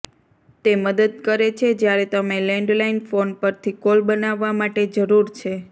તે મદદ કરે છે જ્યારે તમે લેન્ડલાઇન ફોન પરથી કોલ બનાવવા માટે જરૂર છે